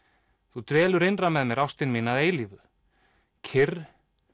þú dvelur innra með mér ástin mín að eilífu kyrr